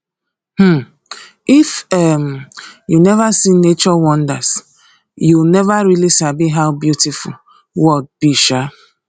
um if um you never see nature wonders you never really sabi how beautiful world be um